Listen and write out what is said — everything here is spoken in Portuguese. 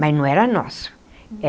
Mas não era nosso.